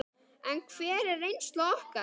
En hver er reynsla okkar?